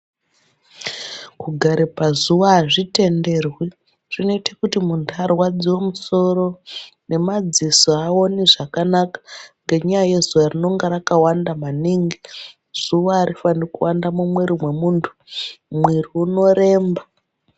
Kugare pazuwa azvitenderwi. Zvinoite kuti muntu arwaradziwe musoro nemadziso aaoni zvakanaka, ngenyaya yezuwa rinenge rakawanda maningi. Zuwa arifani kuwanda mumwiri mwemuntu Mwiri unoremba.